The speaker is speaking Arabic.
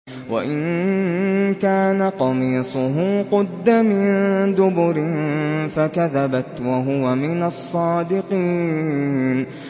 وَإِن كَانَ قَمِيصُهُ قُدَّ مِن دُبُرٍ فَكَذَبَتْ وَهُوَ مِنَ الصَّادِقِينَ